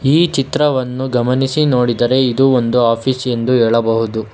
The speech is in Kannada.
ಈ ಚಿತ್ರವನ್ನು ಗಮನಿಸಿ ನೋಡಿದರೆ ಇದು ಒಂದು ಆಫೀಸ್ ಎಂದು ಹೇಳಬಹುದು.